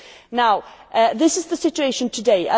Now this is the situation today.